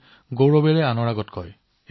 এতিয়া মই এই কিতাপবোৰৰ অধিক পঢ়িব লাগিব